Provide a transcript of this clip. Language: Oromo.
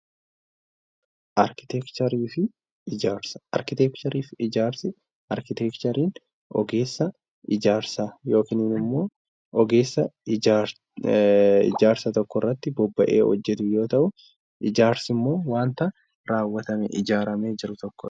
Arkiteekcherii fi Ijaarsa: Arkiteekcheriin ogeessa ijaarsaa yookiin immoo ogeessa ijaarsa tokko irratti bobba'ee hojjetu yeroo ta'u, ijaarsi immoo wanta raawwatamee ijaaramee jiru tokkodha.